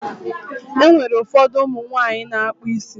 E nwere ụfọdụ ụmụ nwaanyị na-akpụ isi.